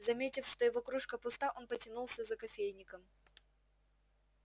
заметив что его кружка пуста он потянулся за кофейником